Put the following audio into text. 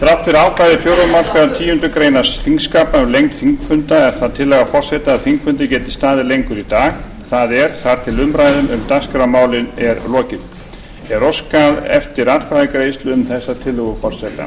þrátt fyrir ákvæði fjórar málsgreinar tíundu greinar þingskapa um lengd þingfunda er það tillaga forseta að þingfundir geti staðið lengur í dag það er þar til umræðum um dagskrármálin er lokið er óskað eftir atkvæðagreiðslu um þessa tillögu forseta